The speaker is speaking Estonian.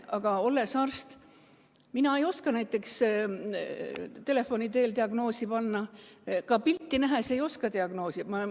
Aga olles arst, ei oska mina näiteks telefoni teel diagnoosi panna, ka pilti nähes ei oska diagnoosi panna.